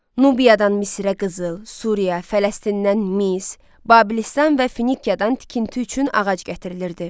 Nubiyadan Misirə qızıl, Suriya, Fələstindən Mis, Babilistan və Finkiyadan tikinti üçün ağac gətirilirdi.